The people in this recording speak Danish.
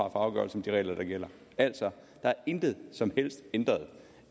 afgørelse om de regler der gælder altså der er intet som helst ændret